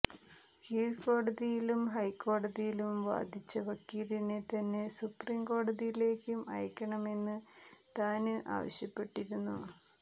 കീഴ്കോടതിയിലും ഹൈക്കോടതിയിലും വാധിച്ച വക്കീലിനെതന്നെ സുപ്രീം കോടതിയിലേക്കും അയക്കണമെന്ന് താന് ആവശ്യപ്പെട്ടിരുന്നു